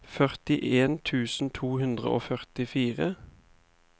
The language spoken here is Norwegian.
førtien tusen to hundre og førtifire